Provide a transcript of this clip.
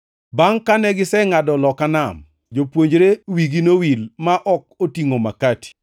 Bangʼ kane gisengʼado loka nam, jopuonjre wigi nowil ma ok otingʼo makati.